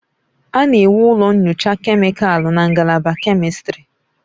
A na-ewu ụlọ nyocha kemịkalụ na ngalaba kemistri.